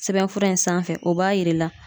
Sɛbɛnfura in sanfɛ o b'a yir'i la